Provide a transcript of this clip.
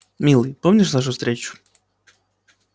милый помнишь нашу встречу